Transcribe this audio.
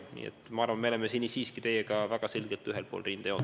Nii et ma arvan, et me oleme siin teiega väga selgelt ühel pool rindejoont.